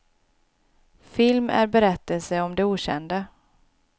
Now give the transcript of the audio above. Film är berättelse om det okända.